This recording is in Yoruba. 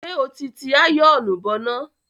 Ṣé ó ti ti àyọ̀ọ̀nù bọná?